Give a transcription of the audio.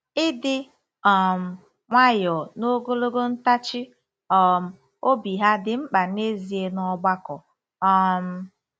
Ịdị um nwayọọ na ogologo ntachi um obi hà dị mkpa n'ezie n'ọgbakọ um?